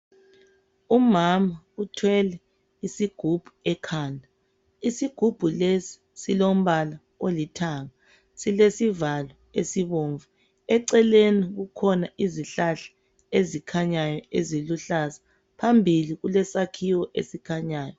Umama uthwele isigubhu ekhanda. Isigubhu lesi silombala olithanga. Silesivalo esibobvu. Eceleni kukhona izihlahla ezikhanyayo eziluhlaza. Phambili kule sakhiwo esikhanyayo.